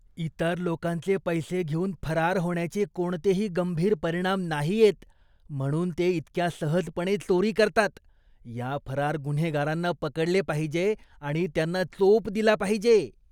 इतर लोकांचे पैसे घेऊन फरार होण्याचे कोणतेही गंभीर परिणाम नाहीयेत, म्हणून ते इतक्या सहजपणे चोरी करतात. या फरार गुन्हेगारांना पकडले पाहिजे आणि त्यांना चोप दिला पाहिजे.